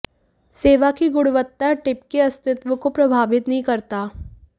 सेवा की गुणवत्ता टिप के अस्तित्व को प्रभावित नहीं करता